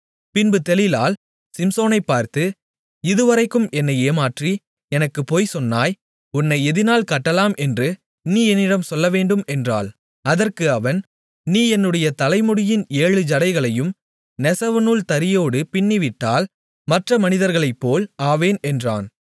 பின்பு தெலீலாள் சிம்சோனைப் பார்த்து இதுவரைக்கும் என்னை ஏமாற்றி எனக்குப் பொய்சொன்னாய் உன்னை எதினால் கட்டலாம் என்று நீ என்னிடம் சொல்லவேண்டும் என்றாள் அதற்கு அவன் நீ என்னுடைய தலைமுடியின் ஏழு ஜடைகளை நெசவுநூல் தறியோடு பின்னிவிட்டால் மற்ற மனிதர்களைப்போல் ஆவேன் என்றான்